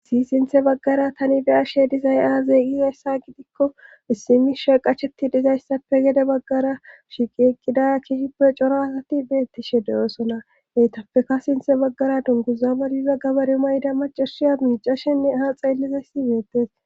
si sinthe baggara tani beya she dizay a zeeqie hessa gidikko issimi sheeqachetti dizayssappe gede baggara shiqi eqqidaya kiishippe coro asati beettishe deyoosona heytappeka sinthe baggara dunguzabadiza gabare mayda macashiya miicashenne eha xeellizayssi beettes